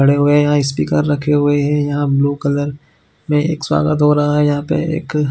खड़े हुए यह स्पीकर रखे हुए है यहाँ ब्लू कलर में एक स्वागत हो रहा है यहाँ पे एक --